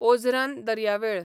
ओझरान दर्यावेळ